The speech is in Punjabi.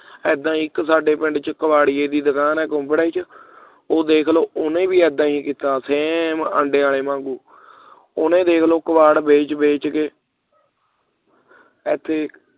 ਏਦਾਂ ਇਕ ਸਾਡੇ ਪਿੰਡ ਦੇ ਵਿੱਚ ਕਬਾੜੀਏ ਦੀ ਦੁਕਾਨ ਹੈ ਕੁਬੜੇ ਵਿੱਚ ਉਹ ਦੇਖ ਲਓ ਉਸ ਨੇ ਵੀ ਇੱਦਾਂ ਹੀ ਕੀਤਾ same ਆਂਡਿਆਂ ਵਾਲੇ ਵਾਂਗੂ ਉਹਨੇ ਵੇਖ ਲਓ ਕਬਾੜ ਵੇਚ ਵੇਚ ਕੇ ਇਥੇ ਇਕ